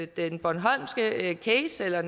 den bornholmske case eller